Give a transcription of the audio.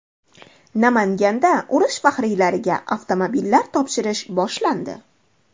Namanganda urush faxriylariga avtomobillar topshirish boshlandi.